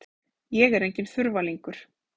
Ég er enginn þurfalingur.